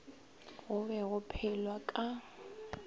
go be go phelwa ka